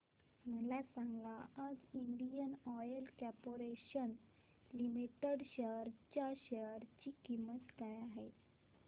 मला सांगा आज इंडियन ऑइल कॉर्पोरेशन लिमिटेड च्या शेअर ची किंमत काय आहे